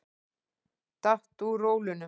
Datt úr rólunum.